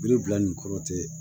Biribibila ni kɔrɔ tɛ